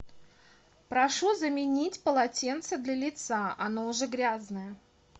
прошу заменить полотенце для лица оно уже грязное